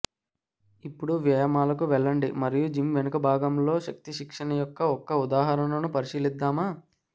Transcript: ఇప్పుడు వ్యాయామాలకు వెళ్లండి మరియు జిమ్ వెనుక భాగంలో శక్తి శిక్షణ యొక్క ఒక ఉదాహరణను పరిశీలిద్దాము